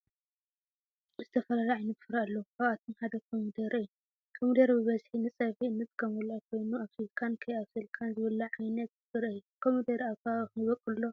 ዝተፈላለዩ ዓየነት ፍረ አለዎ ካብአቶም ሓደ ድማ ኮሚደረ እዩ። ኮሚደረ ብበዚሒ ንፀብሒ እንጥቀመሉ ኮይኑ አብሲልካን ካይብሰልካን ዝብላዕ ዓይነት ፍረ እዩ። ኮሚደረ አብ ከባቢኩም ይቦቅል ዶ?